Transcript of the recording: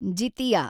Jitiya